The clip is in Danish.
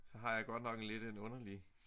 Så har jeg godt nok en lidt en underlig